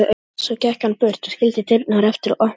Svo gekk hann burt og skildi dyrnar eftir opnar.